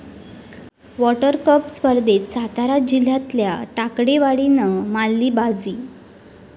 water cup स्पर्धेत सातारा जिल्ह्यातल्या टाकेवाडीनं मारली बाजी